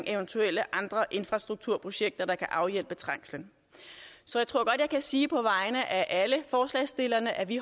eventuelle andre infrastrukturprojekter der kan afhjælpe trængslen så jeg tror godt jeg kan sige på vegne af alle forslagsstillerne at vi